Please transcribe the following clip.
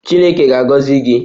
Chineke ga-agọzi gị!